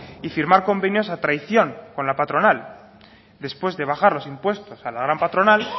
y firmar convenios a traición con la patronal después de bajar los impuestos a la gran patronal